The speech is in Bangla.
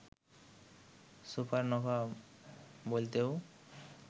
সুপারনোভা বলতেও